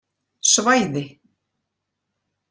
Svæði